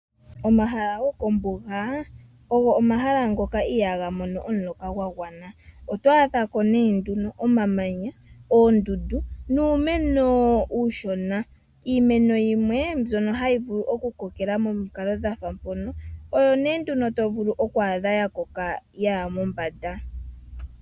Omahala gokombuga ogo omahala ngoka ihaga mono omuloka gwagwana . Oto adhako nduno omamanya, oondundu nuumeno uushona. Iimeno yimwe mbyono hayi vulu okukokela momidhingoloko dhafa mpono oyo nduno hayi koko yaya mombanda.